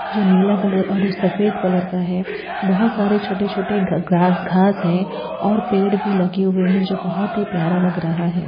जो नीला कलर और ऊ सफेद कलर का है बहुत सारे छोटे छोटे ग्-ग्रास घास है और पेड़ भी लगे हुए है जो बहुत ही प्यारा लग रहा है।